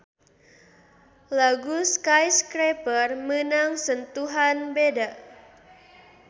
Lagu Skyscraper meunang sentuhan beda.